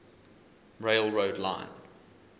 rail road line